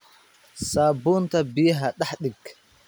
Saabuunta biyaha dax diig